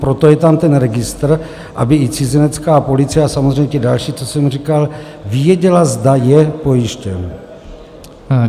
Proto je tam ten registr, aby i cizinecká policie a samozřejmě ti další, co jsem říkal, věděli, zda je pojištěn.